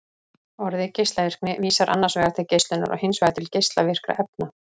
Orðið geislavirkni vísar annars vegar til geislunar og hins vegar til geislavirkra efna.